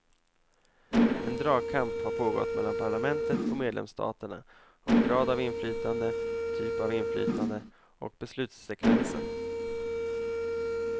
En dragkamp har pågått mellan parlamentet och medlemsstaterna om grad av inflytande, typ av inflytande och beslutssekvensen.